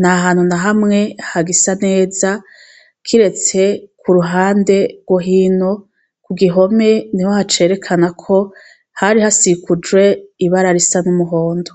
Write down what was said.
nta hantu na hamwe hagisa neza, kiretse ku ruhande rwo hino, ku gihome niho hacerekana ko hari hasikujwe ibara risa n'umuhondo.